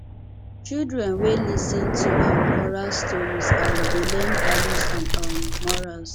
children wey lis ten to um oral stories um dey learn values and um morals